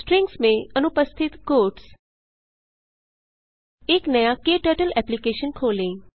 strings में अनुपस्थित quotes एक नया क्टर्टल एप्लिकेशन खोलें